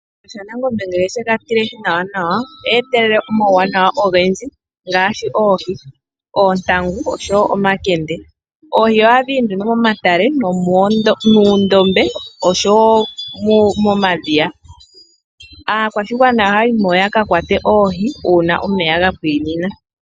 Shiyenga shanangombe ngele oyega tilehi nawa, oha etelele omauwanawa ogendji ngaashi, oohi, oontangu, oshowo omakende. Oohi ohadhi zi momatale, moondombe, noshowo momadhiya. Aakwashigwana ohayayi mo yaka kwate oohi, uuna omeya ga pwiinina.